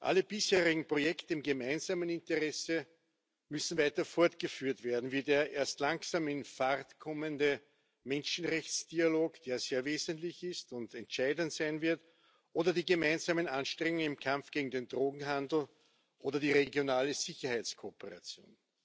Alle bisherigen Projekte im gemeinsamen Interesse müssen weiter fortgeführt werden, wie der erst langsam in Fahrt kommende Menschenrechtsdialog, der sehr wesentlich ist und entscheidend sein wird, oder die gemeinsamen Anstrengungen im Kampf gegen den Drogenhandel oder die regionale Sicherheitskooperation.